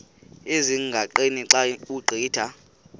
ezingqaqeni xa ugqitha